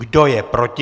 Kdo je proti?